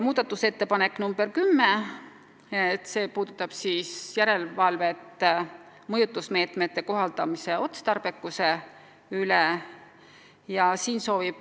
Muudatusettepanek nr 10 puudutab järelevalvet mõjutusmeetmete kohaldamise otstarbekuse üle.